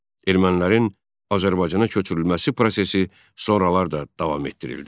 Ermənilərin Azərbaycana köçürülməsi prosesi sonralar da davam etdirildi.